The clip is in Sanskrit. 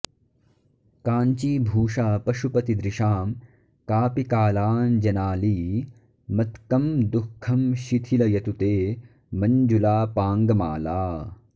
काञ्चीभूषा पशुपतिदृशां कापि कालाञ्जनाली मत्कं दुःखं शिथिलयतु ते मञ्जुलापाङ्गमाला